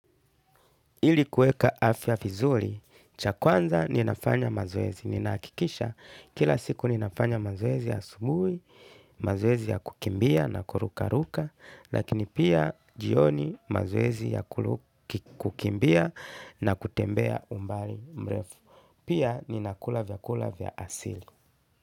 Ili kuweka afya vizuri, cha kwanza ninafanya mazoezi. Ninahakikisha kila siku ninafanya mazoezi ya asubuhi, mazwezi ya kukimbia na kurukaruka, lakini pia jioni mazoezi ya kukimbia na kutembea umbali mrefu. Pia ninakula vyakula vya asili.